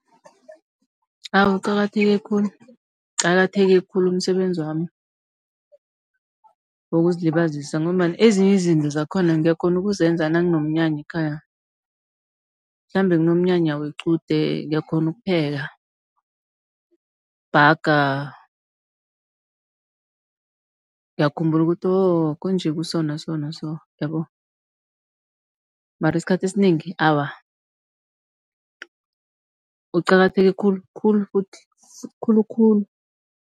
Awa, uqakatheke khulu, uqakatheke khulu umsebenzi wami wokuzilibazisa, ngombana ezinye izinto zakhona ngiyakghona ukuzenza nakunomnyanya ekhaya. Mhlambe kunomnyanya wequde ngiyakghona ukupheka, bhaga. Ngiyakhumbula ukuthi wo konje kuso naso-naso yabona. Mara isikhathi esinengi awa uqakatheke khulu-khulu futhi khulu-khulu.